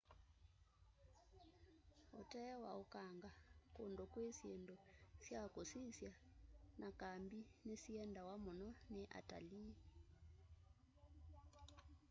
utee wa ukanga kundu kwi syindu sya kusisya na kambi ni siendawa muno ni atalii